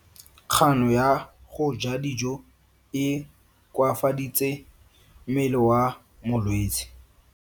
Kgano ya go ja dijo e koafaditse mmele wa molwetse.